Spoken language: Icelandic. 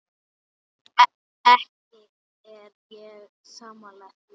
Ekki er ég sammála því.